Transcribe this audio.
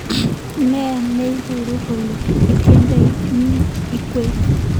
Ne neiboru kole itindoi iiywek